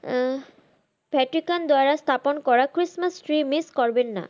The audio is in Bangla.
Patrican দ্বারা স্থাপন করা christmas tree miss করবেন না।